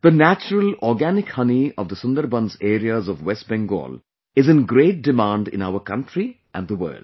The natural organic honey of the Sunderbans areas of West Bengal is in great demand in our country and the world